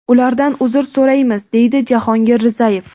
Ulardan uzr so‘raymiz, deydi Jahongir Rizayev.